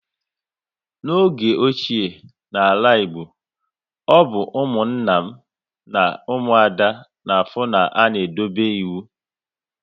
Na oge ochie na ala Igbo, ọ bụ Ụmụnna na Umuada na afụ na-a na edobe ịwụ